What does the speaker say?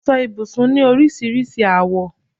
Aṣọ ibùsùn ni oríṣiríṣi àwọ